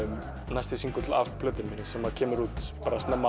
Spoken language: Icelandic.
næsti af plötunni minni sem kemur út snemma